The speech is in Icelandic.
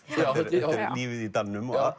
lífið í dalnum og